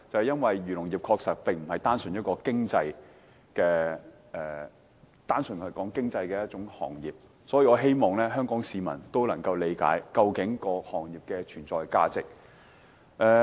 因為漁農業其實並非一個只談經濟的行業，所以我希望香港市民能理解這個行業的存在價值。